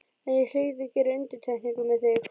En ég hlýt að gera undantekningu með þig.